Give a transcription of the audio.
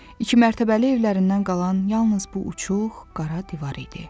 İki mərtəbəli evlərindən qalan yalnız bu uçuq qara divar idi.